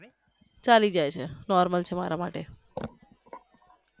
ચાલી જાય છે normal છે મારા માટે